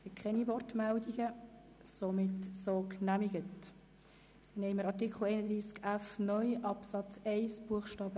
Den nächsten Antrag haben wir zu Artikel 31f (neu) Absatz 1 Bst.